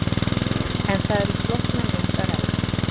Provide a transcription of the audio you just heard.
En það er um flókna mynd að ræða.